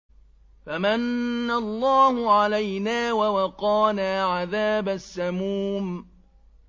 فَمَنَّ اللَّهُ عَلَيْنَا وَوَقَانَا عَذَابَ السَّمُومِ